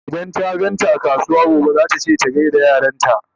idan ta ganta a kasuwa gobe zata ce ta gaida yaranta